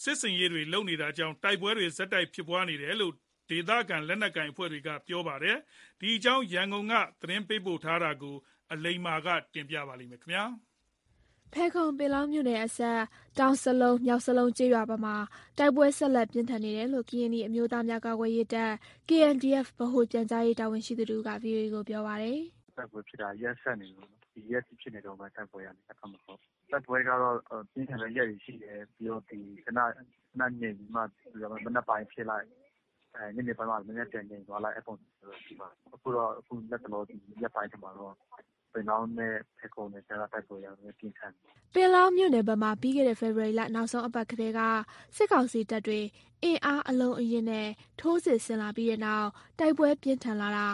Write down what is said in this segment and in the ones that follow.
စစ်ဆင်ရေးတွေကြောင့် တိုက်ပွဲတွေ ဆက်ဖြစ်နေတာလို့လည်း ဒေသခံ လက်နက်ကိုင် အဖွဲ့တွေက ပြောပါတယ်။ ဒီအကြောင်း ရန်ကုန်က သတင်းပေးပို့ထားတာကို အခြေခံပြီး၊ အလိမ္မာ တင်ပြထားပါတယ်။ ဖယ်ခုံ-ပင်လောင်းမြို့နယ်အစပ် တောင်စလုံး၊မြောက်စလုံးကျေးရွာဘက်မှာ တိုက်ပွဲ ဆက်လက် ပြင်းထန်နေတယ်လို့ ကရင်နီအမျိုးသားများကာကွယ်ရေးတပ် (KNDF) ဗဟိုပြန်ကြားရေးတာဝန်ရှိသူတဦးက ဗွီအိုအေကို ပြောပါတယ်။ “တိုက်ပွဲဖြစ်တာရက်ဆက်နေလို့ ဒီရက်အထိ ဖြစ်နေတုန်းပဲ တိုက်ပွဲက အဲ့ဖက်မှာ ဟုတ်၊ တိုက်ပွဲကတော့ ပြင်းထန်တဲ့ ရက်တွေရှိတယ် ပြီးတော့ ခဏငြိမ်ပြီးမှ မနက်ပိုင်းဖြစ်လိုက် ညနေပိုင်းမှာ နည်းနည်းပြန်ငြိမ်သွားလိုက် အဲ့ပုံစံမျိုးပဲ ဖြစ်တယ်၊ ခုတော့ လတ်တလော ဒီရက်ပိုင်းထဲမှာတော့ ပင်လောင်းနဲ့ ဖယ်ခုံနယ်စပ်က တိုက်ပွဲက နည်းနည်းပြင်းထန်နေတယ်။” ပင်လောင်းမြို့နယ်ဘက်မှာ ပြီးခဲ့တဲ့ ဖေဖော်ဝါရီလ နောက်ဆုံးအပတ်ကတည်းက စစ်ကောင်စီတပ်တွေ အင်အားအလုံးအရင်းနဲ့ ထိုးစစ်ဆင်လာပြီးတဲ့နောက် တိုက်ပွဲပြင်းထန်လာတာ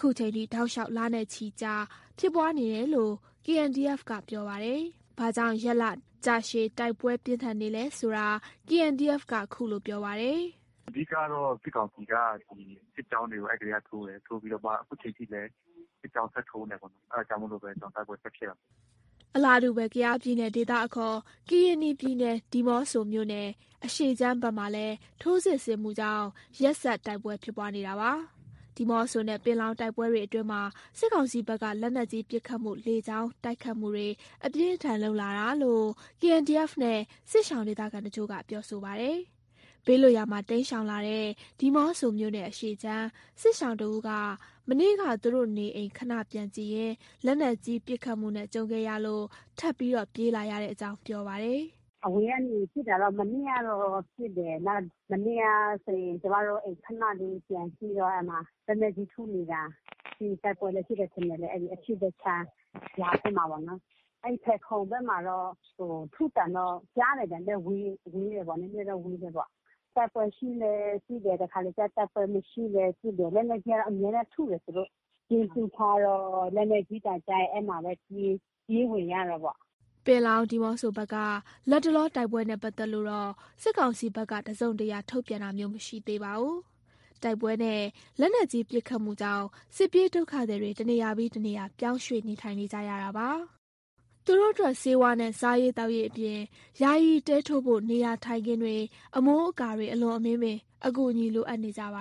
ခုချိန်ထိ တောက်လျှောက် လနဲ့ချီကြာ ဖြစ်ပွားနေတယ်လို့ KNDF က ပြောပါတယ်။ ဘာကြောင့် ရက်လကြာရှည် တိုက်ပွဲပြင်းထန်နေသလဲဆိုတာ KNDF က ခုလို ပြောပါတယ်။ “အဓိကတော့ စစ်ကောင်စီက ဒီစစ်ကြောင်းတွေ အဲ့ကတည်းကထိုးတယ်၊ ထိုးပြီးတော့မှ ခုချိန်ထိလည်း စစ်ကြောင်းထပ်ထိုးနေတယ်ပေါ့နော် အဲ့ဒါကြောင့်မို့လိုပဲ ကျနော်တို့ တိုက်ပွဲဖြစ်နေတယ်ပေါ့ ဟုတ်။” အလားတူ ကယားပြည်နယ် ဒေသအခေါ် ကရင်နီပြည်နယ် ဒီးမော့ဆိုမြို့နယ်အရှေ့ခြမ်းဘက်မှာလည်း ထိုးစစ်ဆင်မှုကြောင့် ရက်ဆက် တိုက်ပွဲဖြစ်ပွားနေတာပါ။ ဒီးမော့ဆိုနဲ့ ပင်လောင်း တိုက်ပွဲတွေအတွင်းမှာ စစ်ကောင်စီဘက်က လက်နက်ကြီးပစ်ခတ်မှု လေကြောင်းတိုက်ခိုက်မှုတွေ အပြင်းအထန်လုပ်လာတာလို့ KNDF နဲ့ စစ်ရှောင်ဒေသခံတချို့က ပြောဆိုပါတယ်။ ဘေးလွတ်ရာမှာ တိမ်းရှောင်လာတဲ့ ဒီးမော့ဆိုမြို့နယ်အရှေ့ခြမ်း စစ်ရှောင်တဦးက မနေ့က သူတို့နေအိမ်ခဏပြန်ကြည့်ရင်း လက်နက်ကြီးပစ်ခတ်မှုနဲ့ ကြုံခဲ့ရလို့ ထပ်ပြေးလာရတဲ့အကြောင်း ပြောပါတယ်။ “အဝေးကနေပစ်တာတော့ မနေ့ကတော့ ပစ်တယ်၊ မနေ့ကဆိုရင် ကျမတို့ အိမ်ခဏလေးပြန်ကြည့်တော့ အဲ့မှာ လက်နက်ကြီးထုနေတာ ပြီးရင်တိုက်ပွဲလည်း ဖြစ်တယ်ထင်တယ်၊ အဲ့အရှေ့ဖက်ခြမ်းရွာထဲမှာပေ့ါနော်။ အဲ့ဖက်ခုံဘက်မှာတော့ ထုသံတော့ကြားတယ် ဝေးတယ် နည်းနည်းတော့ ဝေးတယ်ပေါ့။ (လက်နက်ကြီးက)တိုက်ပွဲရှိလည်း ပစ်တယ် တခါတလေကျ တိုက်ပွဲမရှိလည်း ပစ်တယ် လက်နက်ကြီးက အမြဲတမ်းထုတယ်သူတို့၊ (ဗုံးခို)ကျဉ်းတူးထားတော့ လက်နက်ကြီးသံကြားရင် အဲ့မှာပဲ ပြေးဝင်ရတာပေါ့။” ပင်လောင်း၊ ဒီးမော့ဆိုဘက်က လတ်တလော တိုက်ပွဲနဲ့ ပတ်သက်လို့ စစ်ကောင်စီဘက်က တစုံတရာ ထုတ်ပြန်တာမျိုးမရှိသေးပါဘူး။ တိုက်ပွဲနဲ့ လက်နက်ကြီးပစ်ခတ်မှုကြောင့် စစ်ပြေးဒုက္ခသည်တွေ တနေရာပြီး တနေရာ ပြောင်းရွှေ့နေထိုင်ကြရတာပါ၊ သူတို့အတွက် ဆေးဝါးနဲ့ စားရေးသောက်ရေးအပြင် ယာယီတဲထိုးဖို့ နေရာထိုင်ခင်းတွေ အမိုးအကာတွေ အလွန်အမင်းပင် အကူအညီလိုအပ်နေကြပ